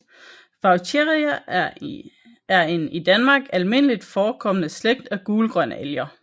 Vaucheria er en i Danmark almindeligt forekommende slægt af gulgrønalger